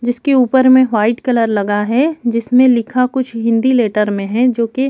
जिसके ऊपर में वाइट कलर लगा है जिसमें लिखा कुछ हिंदी लैटर में हैं जो की--